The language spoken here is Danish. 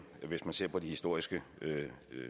hvis man ser på de historiske